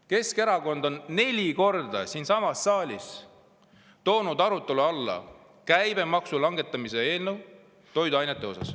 Keskerakond on neli korda siinsamas saalis toonud arutelu alla toiduainete käibemaksu langetamise eelnõu.